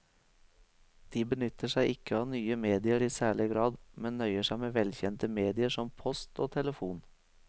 De benytter seg ikke av nye medier i særlig grad, men nøyer seg med velkjente medier som post og telefon.